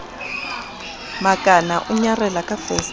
makana o nyarela ka fesetere